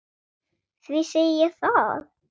Því segi ég það.